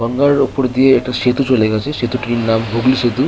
গঙ্গার ওপর দিয়ে একটা সেতু চলে গাছে সেতুটির নাম হুগলী সেতু।